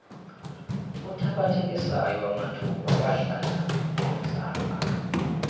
uthabathekisayo wamathuba wahlangabezana